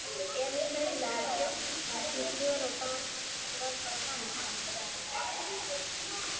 Emil maulaði mjólkurkex með smjöri og var bara hamingjusamur.